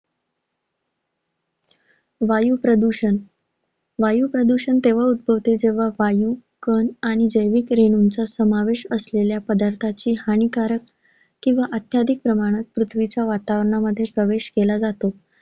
वायू प्रदूषण वायू प्रदूषण तेव्हा उद्भवत जेव्हा वायू, कण आणि जैविक रेणुचा समावेश असलेल्या पदार्थाची हानिकारक किंवा अत्याधिक प्रमाणात पृथ्वीच्या वातावरणामध्ये प्रवेश केला जातो.